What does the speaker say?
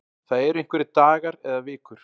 Það eru einhverjir dagar eða vikur